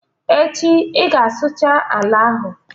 Echi ị ga-asụcha ala ahụ!